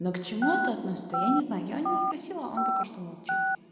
но к чему это относится я не знаю я у него спросила он только что молчит